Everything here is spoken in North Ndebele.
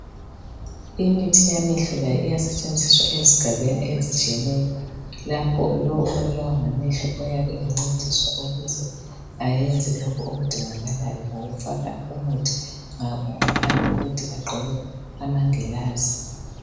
imithi yamehlo layo iyasetshenziswa ezigabeni ezitshiyeneyo lapho lo obulawa ngamehlo uyabe engcediswa ukuze ayenze lokhu okudingakalyo ngokufakwa umuthi ngaphandle kokuthi agqoke amangilazi